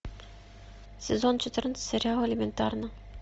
сезон четырнадцать сериал элементарно